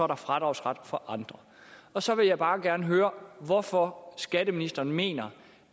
der fradragsret for andre og så vil jeg bare gerne høre hvorfor skatteministeren mener